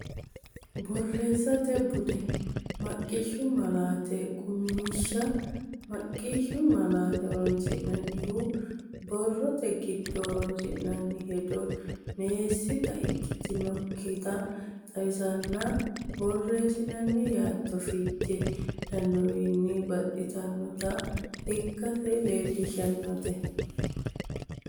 Borreessate Bude: Maqishshu Malaate Qummishsha Maqqishshu malaate horonsi’nannihu: borrote giddo horonsi’noonni hedo meessita ikkitinokkita xawisatenna borreessinoonni yaatto fiche hendoonniwiinni baxxitinota ikkase leellishateeti.